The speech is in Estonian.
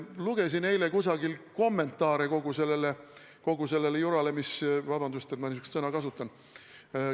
Lugesin eile kusagil kommentaare kogu sellele jurale – vabandust, et ma sellist sõna kasutan!